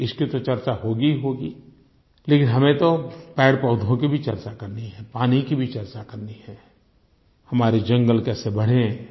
इसकी तो चर्चा होगी ही होगी लेकिन हमें तो पेड़पौधों की भी चर्चा करनी है पानी की भी चर्चा करनी है हमारे जंगल कैसे बढ़ें